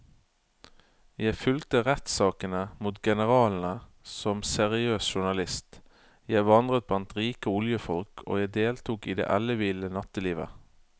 Jeg fulgte rettssakene mot generalene som seriøs journalist, jeg vandret blant rike oljefolk og jeg deltok i det elleville nattelivet.